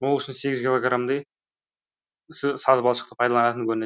ол үшін сегіз килограмдай саз балшықты пайдаланатын көрінеді